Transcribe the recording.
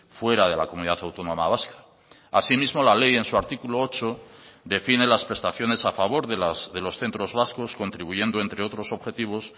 fuera de la comunidad autónoma vasca asimismo la ley en su artículo ocho define las prestaciones a favor de los centros vascos contribuyendo entre otros objetivos